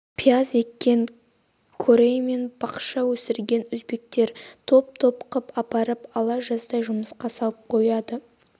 пияз еккен корей мен бақша өсірген өзбектер топ-топ қып апарып ала-жаздай жұмысқа салып қояды